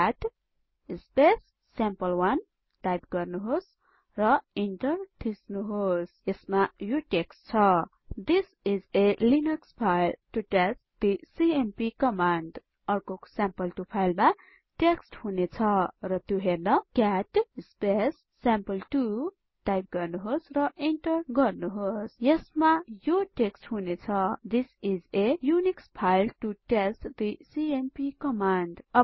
CAT sample one type गर्नुहोस र enter गर्नुहोस् यसमा यो टेक्स्ट छ this is a Linux file to test the CMP command अर्को साम्पले2 फाइलमा टेक्स्ट हुनेछ र त्यो हेर्न हामी क्याट साम्पले2 टाइप गर्नेछौं र इन्टर गर्छौं यसमा यो टेक्स्ट हुनेछ this is a Unix file to test the CMP command